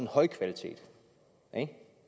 højkvalitet